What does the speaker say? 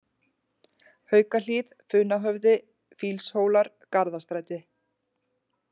Haukahlíð, Funahöfði, Fýlshólar, Garðastræti